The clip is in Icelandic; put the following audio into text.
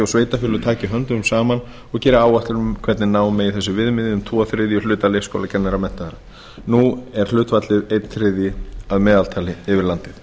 og sveitarfélög taki höndum saman og geri áætlun um hvernig ná megi þessum viðmiðunum um tvo þriðju hluta leikskólamenntaðra nú er hlutfallið einn þriðji að meðaltali yfir landið